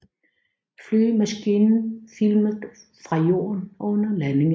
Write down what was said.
Flyvemaskinen filmet fra jorden under landingen